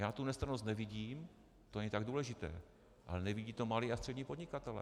Já tu nestrannost nevidím, to není tak důležité, ale nevidí to malí a střední podnikatelé.